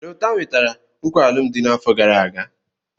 Lota nwetara nkwa alụmdi n'afọ gara aga.